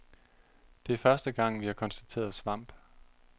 Det er første gang, vi har konstateret svamp.